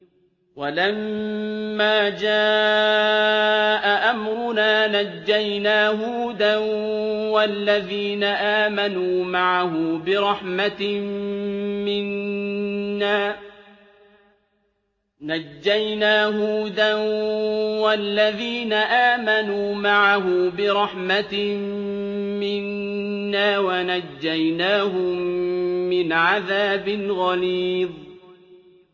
وَلَمَّا جَاءَ أَمْرُنَا نَجَّيْنَا هُودًا وَالَّذِينَ آمَنُوا مَعَهُ بِرَحْمَةٍ مِّنَّا وَنَجَّيْنَاهُم مِّنْ عَذَابٍ غَلِيظٍ